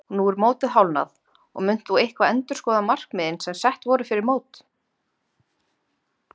Nú er mótið hálfnað og munt þú eitthvað endurskoða markmiðin sem sett voru fyrir mót?